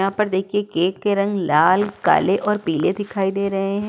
यहाँ पर देखिए केक के रंग लाल काले और पीले दिखाई दे रहे हैं।